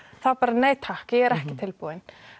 þá bara nei takk ég er ekki tilbúin